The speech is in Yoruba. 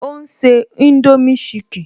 Ó ń se indomie chicken